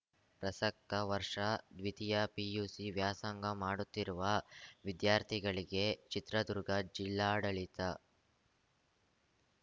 ಪ್ರಸಕ್ತ ವರ್ಷ ದ್ವಿತೀಯ ಪಿಯುಸಿ ವ್ಯಾಸಂಗ ಮಾಡುತ್ತಿರುವ ವಿದ್ಯಾರ್ಥಿಗಳಿಗೆ ಚಿತ್ರದುರ್ಗ ಜಿಲ್ಲಾಡಳಿತ